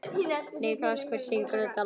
Nikulás, hver syngur þetta lag?